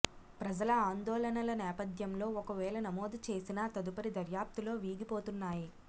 ప్రజల ఆందోళనల నేపథ్యంలో ఒకవేళ నమోదు చేసినా తదుపరి దర్యాప్తులో వీగిపోతున్నాయి